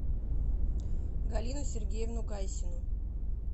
галину сергеевну гайсину